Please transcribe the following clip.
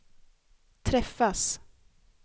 träffas